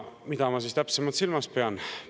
Mida ma täpsemalt silmas pean?